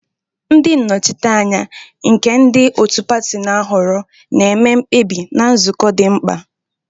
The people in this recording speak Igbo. Ndị nnọchiteanya, nke ndị otu pati na-ahọrọ, na-eme mkpebi na nzukọ di mkpa.